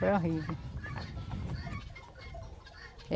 Foi horrive.